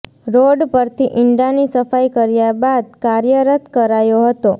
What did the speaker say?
road પરથી ઈંડાની સફાઈ કર્યા બાદ ફરી કાર્યરત કરાયો હતો